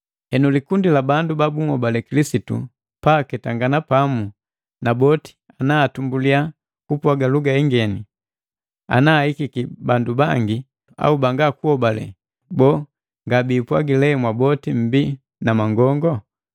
Henu likundi la bandu ba bunhobale Kilisitu pa aketangana pamu, na boti ana atumbuliya kupwaga luga ingeni, ana ahikiki bandu bangi au bangakuhobale, boo, ngabipwagi lee mwaboti mmbi na mangongo?